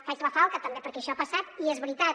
faig la falca també perquè això ha passat i és veritat